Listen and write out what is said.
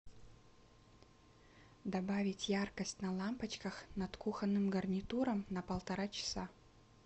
добавить яркость на лампочках над кухонным гарнитуром на полтора часа